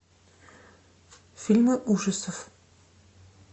фильмы ужасов